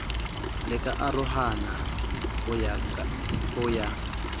la karohano ya ho ya